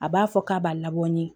A b'a fɔ k'a b'a labɔ ni